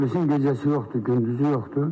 Polisin gecəsi yoxdur, gündüzü yoxdur.